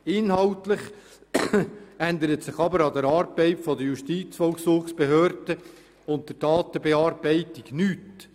Inhaltlich ändert sich aber an der Arbeit der Justizvollzugsbehörde und der Datenbearbeitung nichts.